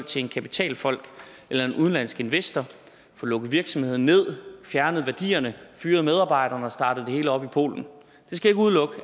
til en kapitalfond eller en udenlandsk investor få lukket virksomheden ned fjerne værdierne fyre medarbejderne og starte det hele op i polen